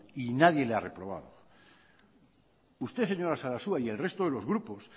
y nadie le ha reprobado usted señora sarasua y el resto de los grupos